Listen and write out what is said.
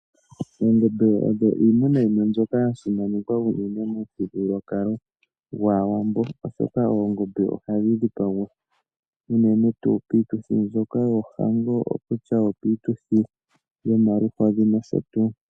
Oongombe odho iimuna mbyoka ya simanekwa unene momuthigululwakalo gwaawambo, oshoka oongombe ohadhi dhipagwa unene tuu piituthi yohango okutua opiituthi yomaluhodhi nosho tuu.